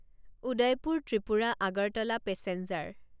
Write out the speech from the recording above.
Udaipur Tripura Agartala passenger